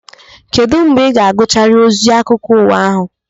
Kedụ mgbe ị ga-agụcharụ ozi akụkọ ụwa ahụ?